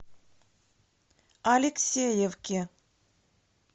алексеевке